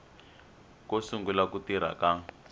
ko sungula ku tirha ka